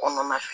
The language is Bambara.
Kɔnɔna fɛ